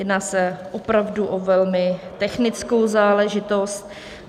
Jedná se opravdu o velmi technickou záležitost.